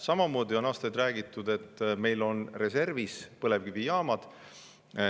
Samamoodi on aastaid räägitud, et meil on reservis põlevkivijaamad.